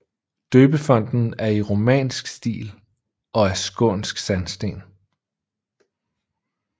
Døbefonten er i romansk stil og af skånsk sandsten